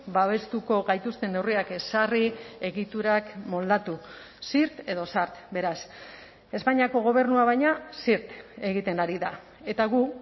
babestuko gaituzten neurriak ezarri egiturak moldatu zirt edo zart beraz espainiako gobernua baina zirt egiten ari da eta gu